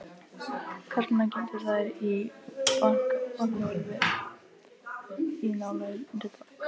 Karlana geymdu þær í bankahólfi í nálægri borg.